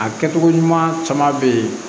A kɛcogo ɲuman caman be ye